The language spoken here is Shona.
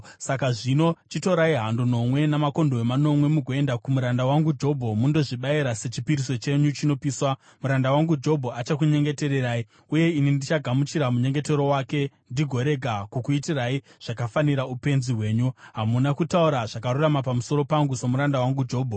Saka zvino chitorai hando nomwe namakondobwe manomwe mugoenda kumuranda wangu Jobho mundozvibayira sechipiriso chenyu chinopiswa. Muranda wangu Jobho achakunyengetererai, uye ini ndichagamuchira munyengetero wake ndigorega kukuitirai zvakafanira upenzi hwenyu. Hamuna kutaura zvakarurama pamusoro pangu, somuranda wangu Jobho.”